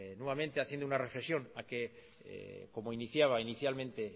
nuevamente haciendo una reflexión a que como iniciaba inicialmente